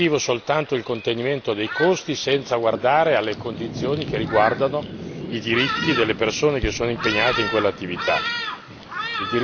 avendo come obiettivo soltanto il contenimento dei costi senza guardare alle condizioni che riguardano i diritti delle persone che sono impegnate in quell'attività.